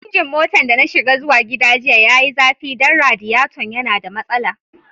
Injin motan da na shiga zuwa gida jiya ya yi zafi dan radiyaton ya na da masala.